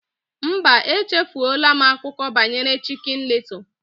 Mba, echefuola m akụkọ banyere Chicken Little